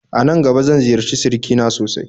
Anan gaba zan ziyarci sirikina sosai